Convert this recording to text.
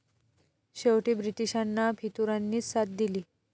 शेवटी ब्रिटिशांना फितुरांनीच साथ दिली